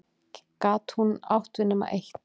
Gat hún átt við nema eitt?